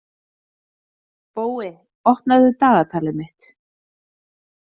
Bói, opnaðu dagatalið mitt.